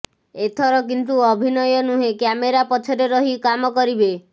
ଏଥର କିନ୍ତୁ ଅଭିନୟ ନୁହେଁ କ୍ୟାମେରା ପଛରେ ରହି କାମ କରିବେ